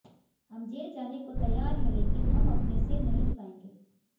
हम जेल जाने को तैयार हैं लेकिन हम अपने सिर नहीं झुकाएंगे